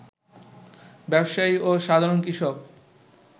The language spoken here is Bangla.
ব্যবসায়ী ও সাধারণ কৃষক